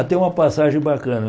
Até uma passagem bacana.